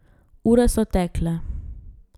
Ure so tekle.